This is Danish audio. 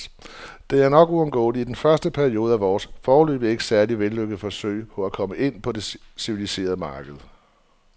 Det er nok uundgåeligt i den første periode af vores, foreløbig ikke særlig vellykkede, forsøg på at komme ind på det civiliserede marked.